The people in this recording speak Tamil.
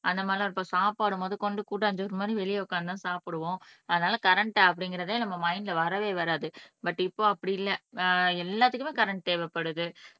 அந்த மாதிரி எல்லாம் இருக்கும் அப்ப சாப்பாடு முதற்கொண்டு கூட்டாஞ்சோறு மாதிரி வெளியே உட்கார்ந்துதான் சாப்பிடுவோம் அதனால கரண்ட் அப்படிங்கறதே நம்ம மைன்ட்ல வரவே வராது பட் இப்போ அப்படி இல்லை ஆஹ் எல்லாத்துக்குமே கரண்ட் தேவைப்படுது